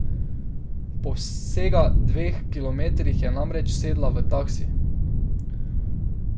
Po vsega dveh kilometrih je namreč sedla v taksi.